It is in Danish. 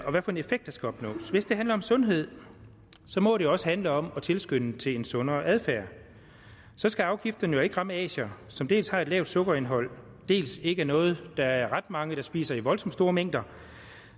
og hvilken effekt der skal opnås hvis det handler om sundhed må det også handle om at tilskynde til en sundere adfærd så skal afgifterne jo ikke ramme asier som dels har et lavt sukkerindhold dels ikke er noget der er ret mange der spiser i voldsomt store mængder